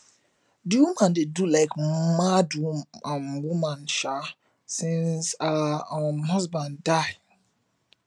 di woman dey do like mad um woman um since her um husband die